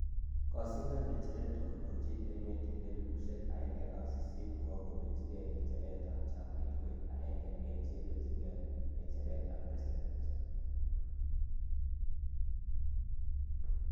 kosindan nyecheret kondochi emet en elipusiek aeng ak sisiit kowa kopelchigee nyecheret ap chamait koek akenge en che ipeljingee nyecheret ap presiden